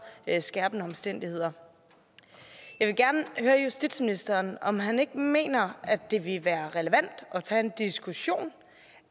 skærpende omstændigheder jeg vil gerne høre justitsministeren om han ikke mener at det ville være relevant at tage en diskussion